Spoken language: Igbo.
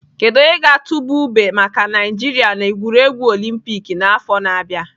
Kedu onye ga-atụba ube maka Naijiria na egwuregwu olympic n'afọ na-abịa?